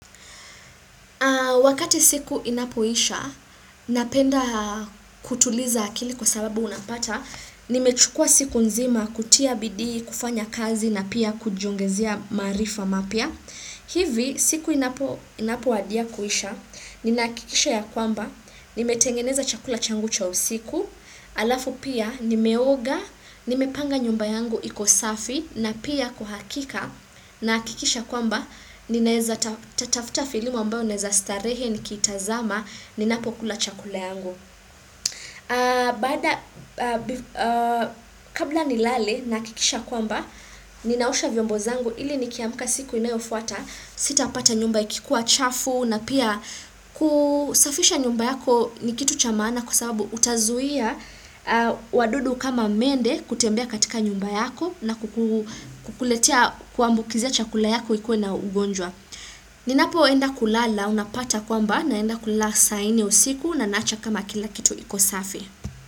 Wakati siku inapoisha, napenda kutuliza akili kwa sababu unapata, nimechukua siku nzima kutia bidi, kufanya kazi na pia kujiongezea maarifa mapya hivi siku inapo wadia kuisha, ninahakikisha ya kwamba, nimetengeneza chakula changu cha usiku, alafu pia nime oga, nime panga nyumba yangu iko safi na pia kwa hakika na nahakikisha kwamba, ni naeza tafuta filamu ambayo ninaeza starehe ni kiitazama, ninapokula chakula yangu. Baada, kabla nilale nahakikisha kwamba ninaosha vyombo zangu ili nikiamka siku inayofuata sitapata nyumba ikikuwa chafu na pia kusafisha nyumba yako ni kitu cha maana kwasababu utazuia wadudu kama mende kutembea katika nyumba yako na kukuletea kukuambukizia chakula yako ikuwe na ugonjwa Ninapo enda kulala unapata kwamba naenda kulala saa nne usiku na naacha kama kila kitu kiko safi.